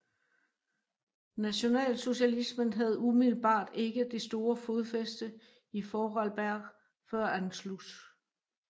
Nationalsocialismen havde umiddelbart ikke det store fodfæste i Vorarlberg før Anschluss